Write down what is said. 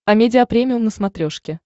амедиа премиум на смотрешке